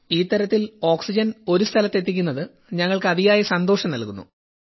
ഈ തരത്തിൽ ഓക്സിജൻ ഒരു സ്ഥലത്ത് എത്തിക്കുന്നത് ഞങ്ങൾക്ക് അതിയായ സന്തോഷം നൽകുന്നു